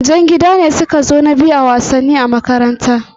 Jan gida ne suka zo na biyu lokacin da akayi wasannin tsakanin gida da gida